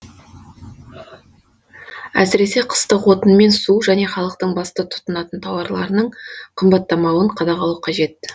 әсіресе қыстық отын мен су және халықтың басты тұтынатын тауарларының қымбаттамауын қадағалау қажет